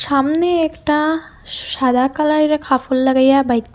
সামনে একটা সাদা কালারের কাফর লাগাইয়া বাই--